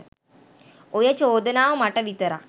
ඔය චෝදනාව මට විතරක්